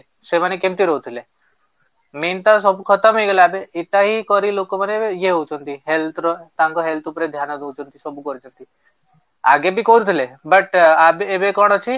ସେମାନେ କେମିତି ରହୁଥିଲେ main ତ ସବୁ ଖତମ ହେଇଗଲା ଏବେ ଏଟା ହିଁ କରି ଲୋକ ମାନେ ଏବେ ଇଏ ହଉଛନ୍ତି health ର ତାଙ୍କ health ଉପରେ ଧ୍ୟାନ ଦଉଛନ୍ତି ସବୁ କରୁଛନ୍ତି ଆଗେ ବି କରୁଥିଲେ but ଏବେ କଣ ଅଛି